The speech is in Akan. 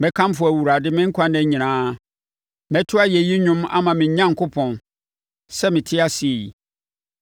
Mɛkamfo Awurade me nkwa nna nyinaa; mɛto ayɛyi dwom ama me Onyankopɔn, sɛ mete ase yi.